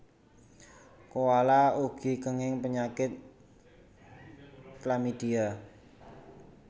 Koala ugi kenging penyakit chlamydia